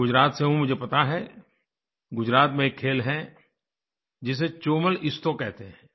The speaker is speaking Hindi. मैं गुजरात से हूँ मुझे पता है गुजरात में एक खेल है जिसे चोमलइस्तो कहते हैं